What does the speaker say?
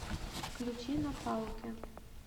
включи напаукен